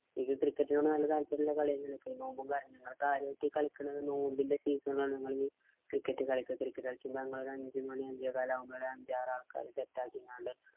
എനിക്ക് cricket കൊണ്ട് നല്ല താല്പര്യം ഉള്ള കളിയെന്നെയാണ്. ഇപ്പൊ ഈ നോമ്പും നിങ്ങൾ ആരൊക്കെ കളിക്കണത് നോമ്പിന്റെ season ആണ് നിങ്ങള് cricket കളിക്ക് cricket കളിച്ചു ചുമ്മാ ഇങ്ങള് ഒരു അഞ്ചുമണി അഞ്ചേകാൽ ആകുമ്പോളെ അഞ്ചാറാൾക്കാരെ set ആക്കിക്കാണ്ട്.